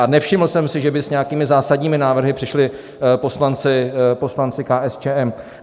A nevšiml jsem si, že by s nějakými zásadními návrhy přišli poslanci KSČM.